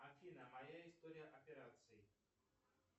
афина моя история операций